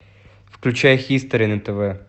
включай хистори на тв